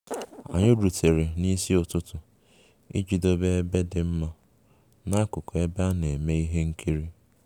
Anyị rutere n'isi ụtụtụ iji dobe ebe dị mma n'akụkụ ebe a na-eme ihe nkiri